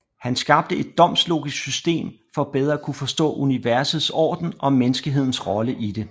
Han skabte et domslogisk system for bedre at kunne forstå universets orden og menneskehedens rolle i det